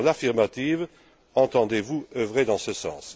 Dans l'affirmative, entendez vous œuvrer dans ce sens?